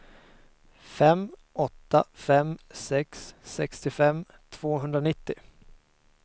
fem åtta fem sex sextiofem tvåhundranittio